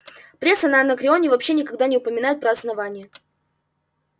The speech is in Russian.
пресса на анакреоне вообще никогда не упоминает про основание